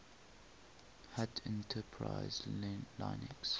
hat enterprise linux